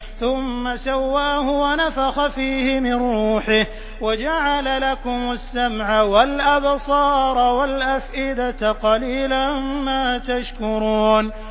ثُمَّ سَوَّاهُ وَنَفَخَ فِيهِ مِن رُّوحِهِ ۖ وَجَعَلَ لَكُمُ السَّمْعَ وَالْأَبْصَارَ وَالْأَفْئِدَةَ ۚ قَلِيلًا مَّا تَشْكُرُونَ